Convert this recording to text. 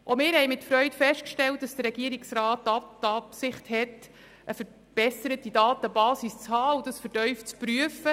Auch wir haben mit Freude festgestellt, dass der Regierungsrat die Absicht hat, eine verbesserte Datenbasis zu haben und dies vertieft zu prüfen.